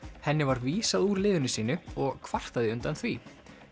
henni var vísað úr liðinu sínu og kvartaði undan því